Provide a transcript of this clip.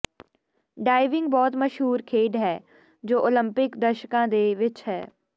diving ਬਹੁਤ ਮਸ਼ਹੂਰ ਖੇਡ ਹੈ ਜੋ ਓਲੰਪਿਕ ਦਰਸ਼ਕਾਂ ਦੇ ਵਿੱਚ ਹੈ